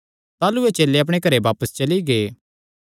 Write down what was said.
ताह़लू एह़ चेले अपणे घरेयो बापस चली गै